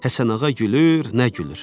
Həsənağa gülür, nə gülür.